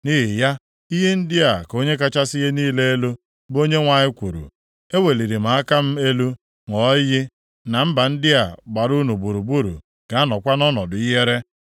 Nʼihi ya, ihe ndị a ka Onye kachasị ihe niile elu, bụ Onyenwe anyị kwuru, eweliri m aka m elu ṅụọ iyi na mba ndị a gbara unu gburugburu ga-anọkwa nʼọnọdụ ihere.